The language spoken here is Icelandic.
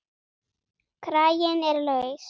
Kraginn er laus.